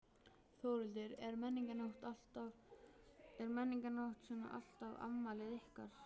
Þórhildur: Er Menningarnótt svona alltaf afmælið ykkar?